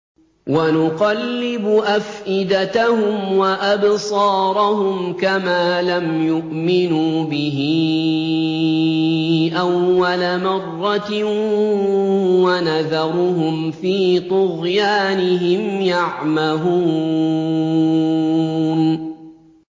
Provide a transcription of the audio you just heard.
وَنُقَلِّبُ أَفْئِدَتَهُمْ وَأَبْصَارَهُمْ كَمَا لَمْ يُؤْمِنُوا بِهِ أَوَّلَ مَرَّةٍ وَنَذَرُهُمْ فِي طُغْيَانِهِمْ يَعْمَهُونَ